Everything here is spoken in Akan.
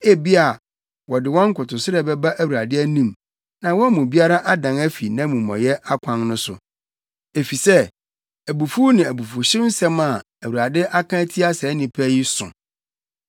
Ebia wɔde wɔn nkotosrɛ bɛba Awurade anim na wɔn mu biara adan afi nʼamumɔyɛ akwan no so, efisɛ abufuw ne abufuwhyew nsɛm a Awurade aka atia saa nnipa yi so.”